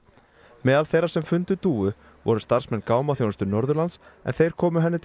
meðal þeirra sem fundu dúfu voru starfsmenn Norðurlands en þeir komu henni til